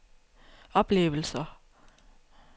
oplevelser